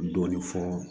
Dɔɔnin fɔ